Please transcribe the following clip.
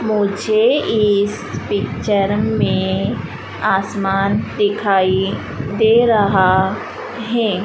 मुझे इस पिक्चर में आसमान दिखाई दे रहा है।